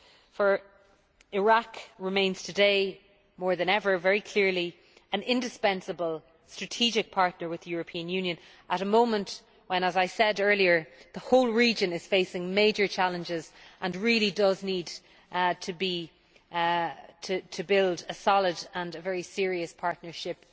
For Iraq remains today, more than ever, very clearly, an indispensable strategic partner with the European Union at a moment when, as I said earlier, the whole region is facing major challenges and really does need to build a solid and very serious partnership